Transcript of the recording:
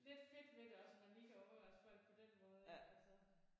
Lidt fedt ved det også at man lige kan overraske folk på den måde ikke altså